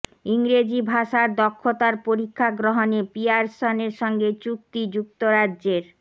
ইংরেজি ভাষার দক্ষতার পরীক্ষা গ্রহণে পিয়ারসনের সঙ্গে চুক্তি যুক্তরাজ্যের